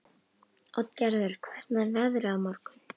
Oddgerður, hvernig er veðrið á morgun?